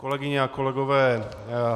Kolegyně a kolegové.